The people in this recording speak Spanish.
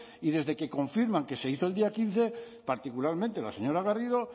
y desde que confirman que se hizo el día quince particularmente la señora garrido